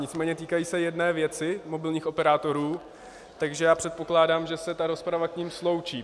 Nicméně týkají se jedné věci, mobilních operátorů, takže já předpokládám, že se ta rozprava k nim sloučí.